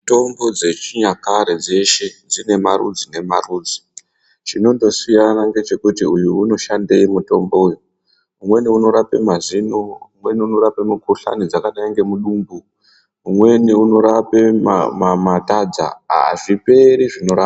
Mitombo dzechinyakare dzeshe dzine marudzi nemarudzi chinongosiyana ndechekuti uyu unoshandei mutombo uyu umweni unorape mazino umweni unorape mikuhlani dzakadai ngemudumbu umweni unorape matadza azviperi zvinorapwa .